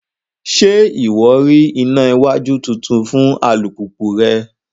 Ṣe iwọ rí ìnà iwájú títún fún alupupu rẹ?